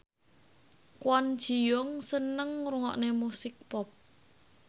Kwon Ji Yong seneng ngrungokne musik pop